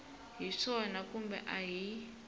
hi swona kumbe a hi